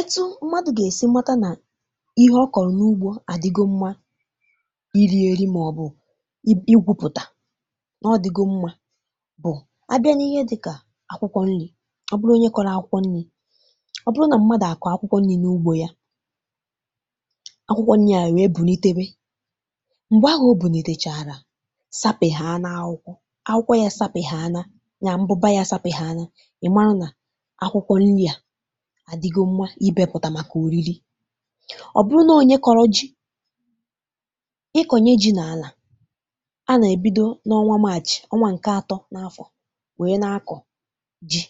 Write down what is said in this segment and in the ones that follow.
Etu mmadụ̀ gà-èsi mata nà ihe ọ kọ̀rọ̀ n’ugbȯ àdigo mmȧ iri èri, mà ọ̀ bụ̀ igwụpụ̀tà, nà ọdìgo mma bụ̀, abịa n’ihe dịkà akwụkwọ nri̇, ọ bụrụ onye kọrọ akwụkwọ nri̇, ọ bụrụ nà mmadụ̀ àkọ̀ akwụkwọ nri̇ n’ugbȯ ya, akwụkwọ nri̇ à nwee bù n’ite we, m̀gbè ahụ̇ obùnìtèchàrà, sapeháná akwụkwọ, akwụkwọ ya sapeháná, ya mbụba ya sapeháná, ị mara nà akwụkwọ nri̇ à àdịgo mma, ibe pụ̀tà màkà òriri. Ọ bụrụ nà onye kọ̀rọ̀ ji, ịkọnye ji̇ n’àlà, a nà-èbido n’ọnwa maàchị̀, ọnwa ǹke atọ n’afọ̀ wèe na-akọ̀ ji.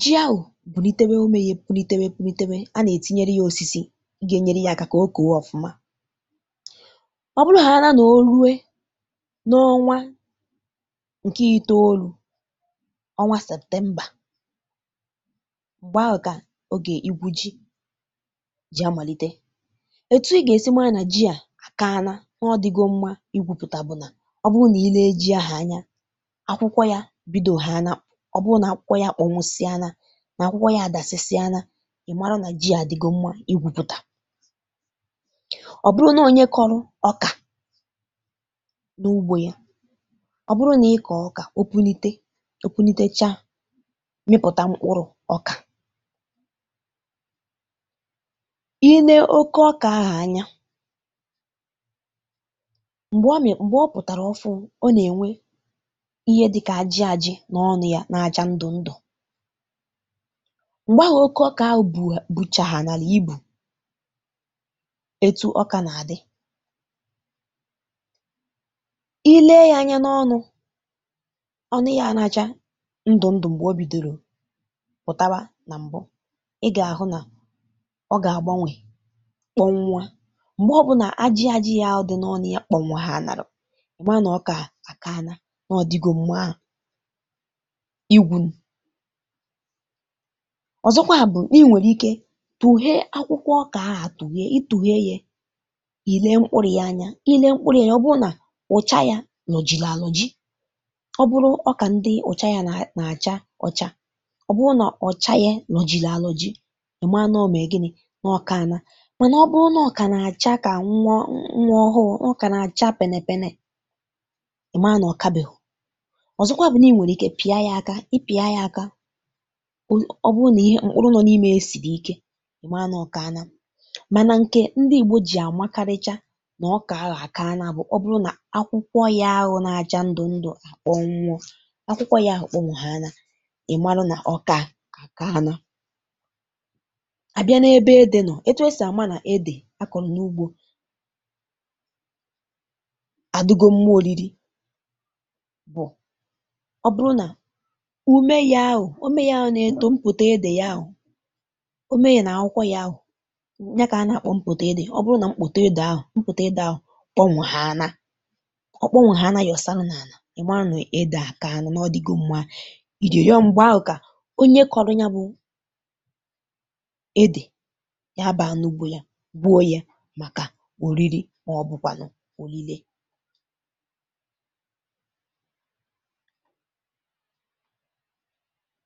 Ji ahụ̀ bùlitewe, ume ya èpùlitewe pùlitewe, a nà-ètinyere ya osisi gà-ènyere ya aka, kà okèwe ọ̀fụma. Ọ bụrụ ha àna, na ò ruwe n’ọnwa ǹke itoolu̇, ọnwa septembȧ, m̀gbè ahụ̀ kà oge igwu ji jì amàlite. Ètù i gà-èsi maa nà ji à kaana, na ọ dịgo mmȧ igwùpùtà bụ̀ nà ọ bụ nà i lee ji ahụ̀ anya, akwụkwọ ya bido ha nà, ọ bụrụ nà akwụkwọ ya akpọnwusịana, nà akwụkwọ ya àdàsịsịana, ị̀ mara nà ji à dịgo mmȧ igwùpùtà. Ọbụrụ nà onye kọrụ ọkà n’ugbȯ ya, ọ bụrụ nà ị kọ̀ọ ọkà, opunite opunitecha, mipụta mkpụrụ ọka, i nee oke ọkà ahụ anya m̀gbè ọ mị̀, m̀gbè ọ pụ̀tàrà ọ fụ̀, ọ na-ènwe ihe dịkà ajị ajị, na ọnụ̇ ya n'acha ndụ̀ ndụ̀. Mgbè ahụ̀ oke ọkà ahụ buchà ha nàlà ibù, etu ọkà nà àdị, i lee ya anya n’ọnụ̇, ọ nụ ya n’acha ndụ ndụ, mgbe ọ bidoro pùtawa nà m̀bụ, ị gà-àhụ nà ọ gà-àgbanwè kpọnwuȧ. Mgbè ọbụ̇nà ajị ajị ya ahụ dị n’ọnụ ya kpọ̀nwụ̀hana, ịmànà ọkà àkaana, na ọ̀ dịgó mma igwu. Ọzọkwa bụ̀ na inwèrè ike itùghe akwụkwọ ọkà ahụ̀ atùghe, itùghe ya, ile mkpụrụ̇ yȧ anya, ile mkpụrụ ya, ọ bụrụ nà ụ̀cha yȧ lọ̀jili-alọ̀ji, ọ bụrụ ọkà ndị ụ̀cha ya nà-àcha ọcha, ọbụrụ na ọcha ya lọ̀jili-alọ̀ji, ị̀ma na ọ mèe gịnị̇, na ọkaana. Mànà ọ bụrụ nà ọ kà nà-àcha kà nwa ọhụụ, nà ọ kà nà-àcha penepene, ị̀ ma nà ọ̀kabèhụ̀. Ọzọkwa bụ̀ nà i nwèrè ike ị pịa ya aka, i pịa ya aka, ọ bụrụ nà ihe mkpụrụ nọ na ime ya sìri ike, ị̀ ma nà ọkaana. Mànà ǹkè ndị igbo jì àmakarịcha nà ọkȧ ahụ̀ àkaana bụ̀, ọ bụrụ nà akwụkwọ ya ahụ nà-àcha ndụ̀ ndụ̀, àkpọnwuọ, akwụkwọ ya ahụ kpọnwuhaanà, ịmara na ọkà ahụ akaana. Abịa n’ebe ede nọ̀, etu esì àma nà edè akọ̀ n’ugbȯ àdugo mma oriri bụ̀ ọ bụrụ nà ume ya ahụ̀, ume ya ahụ̀ na-eto mpòto ede ya ahụ̀, ume ya nà akwụkwọ ya ahụ̀, ya kà ana-akpọ mpòto ede, ọ bụrụ nà mpòto ede ahụ̀, mpòto ede ahụ̀ kpọnwụ̀ ha anà, ọ kpọnwụ̀ ha anà, yọ̀ sarụ nà ana, ị̀ ma nà ede àkà na, n’ọdìgo mma irí, ọ mgbe ahụ ka onye kọrụ ya bụ edè, ya baa n'ugbo yá gbuo ya màkà òriri, mà ọ̀ bụ̀kwànụ̀ òlilé.